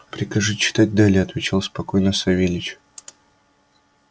прикажи читать далее отвечал спокойно савельич